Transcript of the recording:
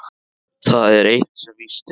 Það er eitt sem víst er.